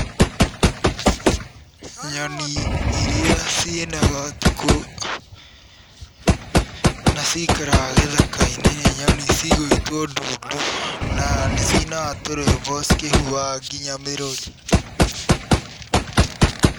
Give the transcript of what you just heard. Nyoni irĩa cinaga ũtukũ na cikaraga gĩthaka-inĩ nĩ nyoni cigwĩtwo ndundu, na nĩ cinaga tũrwĩmbo cikĩhuhaga nginya mĩrũri.